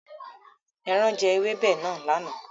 Ẹran jẹ ewébẹ̀ náà lánàá.